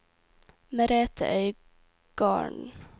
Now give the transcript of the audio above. Merethe Øygarden